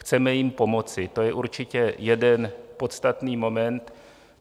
Chceme jim pomoci, to je určitě jeden podstatný moment.